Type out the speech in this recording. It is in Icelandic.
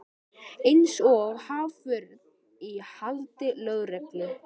Eins og haförn í haldi lögreglu.